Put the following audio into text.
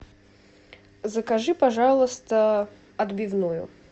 закажи пожалуйста отбивную